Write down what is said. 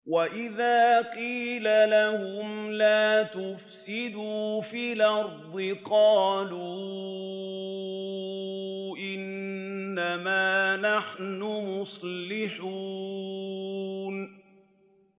وَإِذَا قِيلَ لَهُمْ لَا تُفْسِدُوا فِي الْأَرْضِ قَالُوا إِنَّمَا نَحْنُ مُصْلِحُونَ